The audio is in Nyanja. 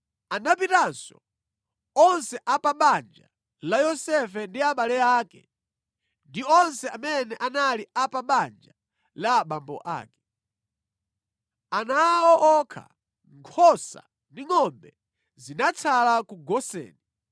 Anapitanso onse a pa banja la Yosefe ndi abale ake ndi onse amene anali a pa banja la abambo ake. Ana awo okha, nkhosa ndi ngʼombe zinatsala ku Goseni